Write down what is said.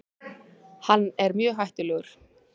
Hann er mjög hættulegur.